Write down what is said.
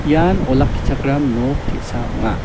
ian olakkichakram nok te·sa ong·a.